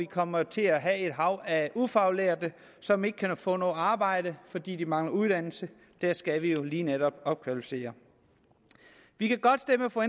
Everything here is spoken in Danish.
kommer til at have et hav af ufaglærte som ikke kan få noget arbejde fordi de mangler uddannelse skal vi jo lige netop opkvalificere vi kan godt stemme for